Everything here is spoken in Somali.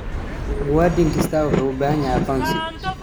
Muwaadin kasta waxa uu u baahan yahay aqoonsi.